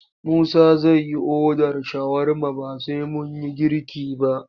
Musa zai yi odar shawarma ba sai mun yi girki ba.